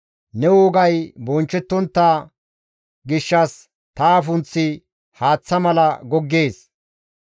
Ne wogay bonchchettontta gishshas ta afunththi haaththa mala goggees.